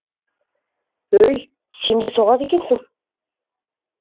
өй сен де соғады екенсің